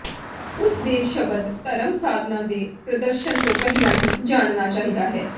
ਉਸ ਦੇ ਸ਼ਬਦ ਧਰਮ ਸਾਧਨਾਂ ਦੇ ਪ੍ਰਦਰਸ਼ਨ ਤੋਂ ਪਹਿਲਾਂ ਹੀ ਜਾਨਣਾ ਚਾਹੀਦਾ ਹੈ